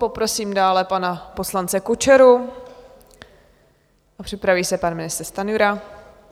Poprosím dále pana poslance Kučeru a připraví se pan ministr Stanjura.